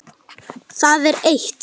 Það er eitt.